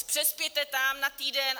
Přespěte tam na týden.